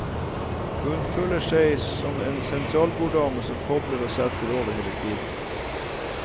Hun føler seg som en sentralborddame som kobler og setter over hele tiden.